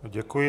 Děkuji.